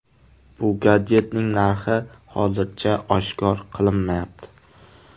Bu gadjetning narxi hozircha oshkor qilinmayapti.